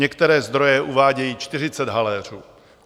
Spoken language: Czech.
Některé zdroje uvádějí 40 haléřů.